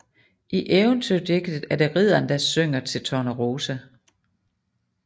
I eventyrdigtet er det ridderen der synger til Tornerose